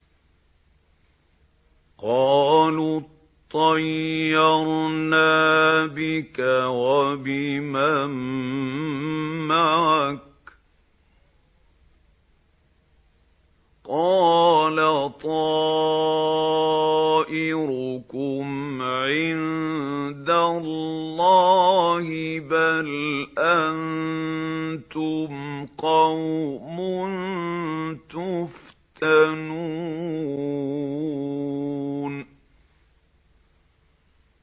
قَالُوا اطَّيَّرْنَا بِكَ وَبِمَن مَّعَكَ ۚ قَالَ طَائِرُكُمْ عِندَ اللَّهِ ۖ بَلْ أَنتُمْ قَوْمٌ تُفْتَنُونَ